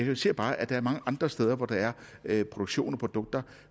jeg ser bare at der er mange andre steder hvor der er er produktion af produkter